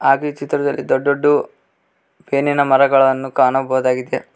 ಹಾಗು ಈ ಚಿತ್ರದಲ್ಲಿ ದೊಡ್ಡ ದೊಡ್ದು ಬೇನಿನ ಮರಗಳನ್ನು ಕಾಣಬಹುದಾಗಿದೆ.